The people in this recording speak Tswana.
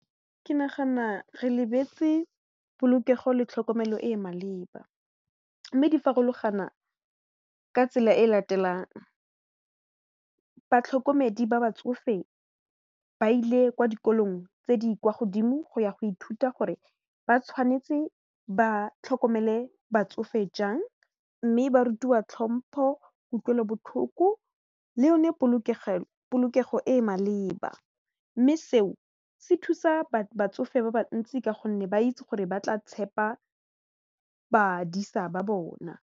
Ke nagana re lebetse polokego le tlhokomelo e e maleba mme di farologana ka tsela e latelang, batlhokomedi ba batsofe ba ile kwa dikolong tse di kwa godimo go ya go ithuta gore ba tshwanetse ba tlhokomele batsofe jang mme ba rutiwa tlhompho, kutlwelobotlhoko le yone polokego e maleba mme seo se thusa batsofe ba bantsi ka gonne ba itse gore ba tla tshepa badisa ba bona.